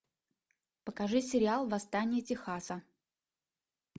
покажи сериал восстание техаса